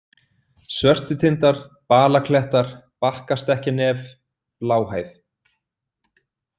Svörtutindar, Balaklettar, Bakkastekkjarnef, Bláhæð